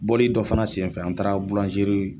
Bɔli dɔ fana senfɛ an taara